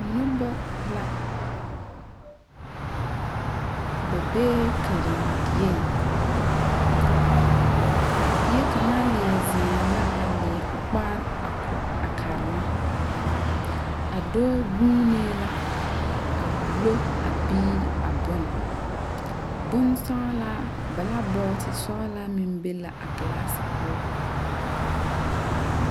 Noba la. Ba beɛ kareŋ dieŋ. A bie kanga lie zeŋɛ la a lie o kpaare a ko a karema. A doɔ guuneɛ la a wulo a biire a bon. Bon sɔglaa, blabɔte sɔlaa meŋ be la a klaasi poʊ.